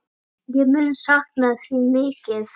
Ég mun sakna þín mikið.